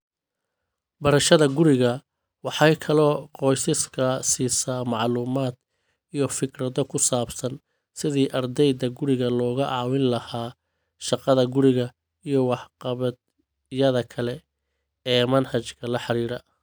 Barashada guriga waxay kaloo qoysaska siisaa macluumaad iyo fikrado ku saabsan sidii ardayda guriga looga caawin lahaa shaqada-guri iyo waxqabadyada kale ee manhajka la xiriira.